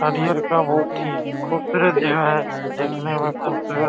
और ये बहोत ही खूबसूरत जगह है देखने में ही खूबसूरत --